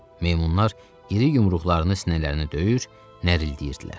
Meymunlar iri yumruqlarını sinələrini döyür, nərildəyirdilər.